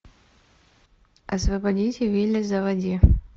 освободите вилли заводи